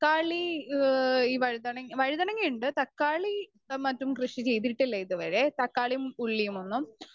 Speaker 2 ക്കാളി ങ്ഹാ ഈ വഴുതന വഴുതനങ്ങയുണ്ട് തക്കാളി എ മറ്റും കൃഷി ചെയ്തിട്ടില്ല ഇതുവരെ തക്കാളീം ഉള്ളിയുമൊന്നും.